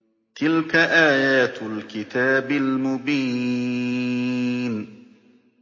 تِلْكَ آيَاتُ الْكِتَابِ الْمُبِينِ